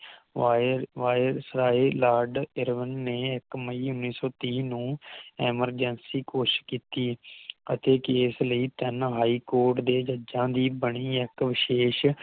why viceroy lord Irwin ਨੇ ਇਕ ਮਈ ਉਨ੍ਹੀ ਸੌ ਤੀਹ ਨੂੰ Emergency ਘੋਸ਼ਿਤ ਕੀਤੀ ਅਤੇ ਕੇਸ ਲਈ ਤਿਨ High Court ਦੇ ਜਜਾਂ ਦੀ ਬਾਣੀ ਇਕ ਵਿਸ਼ੇਸ਼